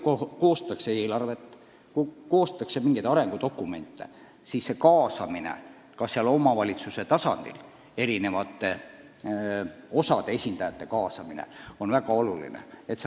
Kui koostatakse eelarvet, koostatakse mingeid arengudokumente, siis on omavalitsuses eri osade esindajate kaasamine väga oluline.